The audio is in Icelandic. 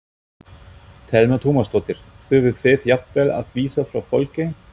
Telma Tómasdóttir: Þurfið þið jafnvel að vísa frá fólki?